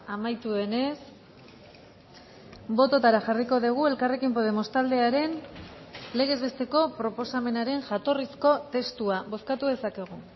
amaitu denez bototara jarriko dugu elkarrekin podemos taldearen legez besteko proposamenaren jatorrizko testua bozkatu dezakegu